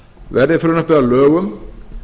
verði frumvarpið að lögum